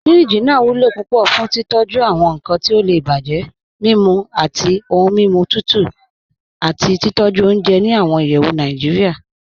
Fíríjì naa wulo púpọ̀ fún títọ̀jú awọn nkan ti ó lè bájẹ, mimú awọn ọ̀hun mímú tutù, àti títọ̀jú ọ̀unjẹ́ ní awọn ìyẹ́wù Nàìjíríà.